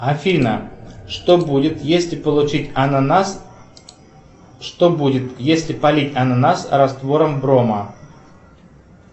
афина что будет если получить ананас что будет если полить ананас раствором брома